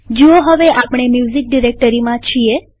જુઓ હવે આપણે મ્યુઝીક ડિરેક્ટરીમાં છીએ